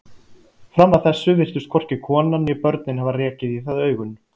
Fram að þessu virtust hvorki konan né börnin hafa rekið í það augun.